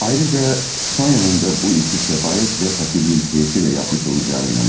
Ayrıca Sonyanın da bu işi səfalət və fəqirliyin təsiri ilə etmiş olacağına inanıram.